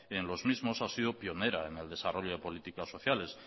en los mismos ha sido pionera en el desarrollo de políticas sociales